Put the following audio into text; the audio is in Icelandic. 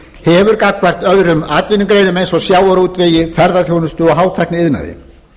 hefur gagnvart öðrum atvinnugreinum eins og sjávarútvegi ferðaþjónustu og hátækniiðnaði